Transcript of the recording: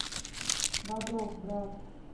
бодров брат